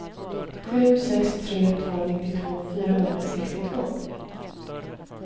sju sex tre två nittiotvå fyrahundrasextiotvå